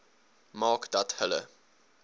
maak dat hulle